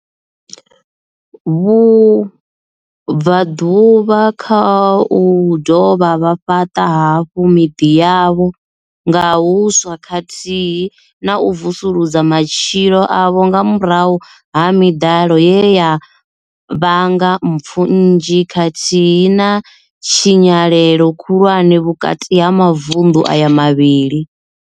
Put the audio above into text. Vhu bvaḓuvha kha u dovha vha fhaṱa hafhu miḓi yavho nga huswa khathihi na u vusulusa matshilo avho nga murahu ha miḓalo ye ya vhanga mpfu nnzhi khathihi na tshinyalelo khulwane vhukati ha mavundu aya mavhili.